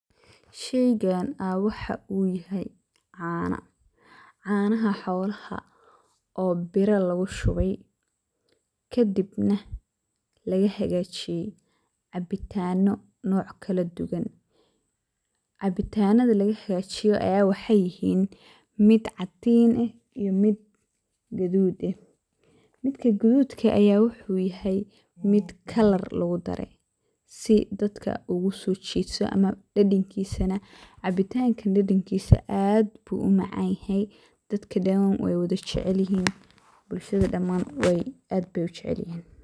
Sheygan aa waxa uu yahay caano, caanaha xolaha oo biro lugushubay kadibna lagahagajiyey cabitano nocya kaladuwan. Cabitanada lagahajiyey aya wexey yihin mid cadiin eh iyo mid gaduud eh, midka guduudka ah aya wuxu yahay mid kalar lugudaray sii dadka ogusojito ama dadankisa cabitankan aad ayu umacanyahy dadka dan wey wadajecekyihin bulshada dan aya jecel.